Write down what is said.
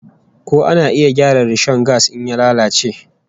Ko ana iya gyara rishon gas in ya lalace?